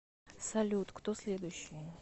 салют кто следующий